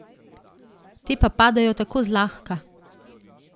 Te pa padajo tako zlahka!